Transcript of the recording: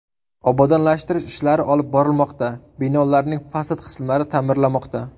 Obodonlashtirish ishlari olib borilmoqda, binolarning fasad qismlari ta’mirlanmoqda.